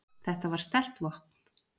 Þetta var sterkt vopn.